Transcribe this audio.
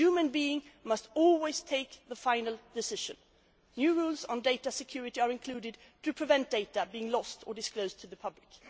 A human being must always take the final decision. New rules on data security are included to prevent data being lost or disclosed to the public.